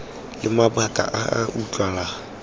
le mabaka a a utlwalang